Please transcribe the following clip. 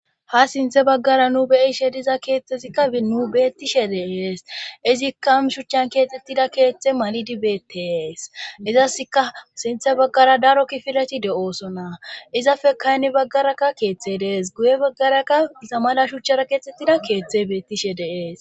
Ha sinthe baggara nu beyishe diza keeththezikka binu beettishe deees izikka shuchchan keexxettida keeththe malidi beetees izaska sinthe baggara daro kifilati de7oosona izafe kaynni baggarakka keeththe dees guye baggarakka iza mala shuchchara keexxettida keeththe beettishe deees